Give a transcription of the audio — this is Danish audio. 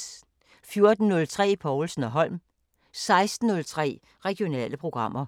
14:03: Povlsen & Holm 16:03: Regionale programmer